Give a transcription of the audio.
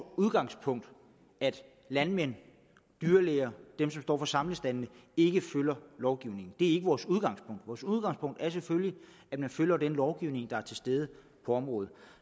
udgangspunkt at landmænd dyrlæger og dem som står for samlestaldene ikke følger lovgivningen det ikke vores udgangspunkt vores udgangspunkt er selvfølgelig at man følger den lovgivning der er til stede på området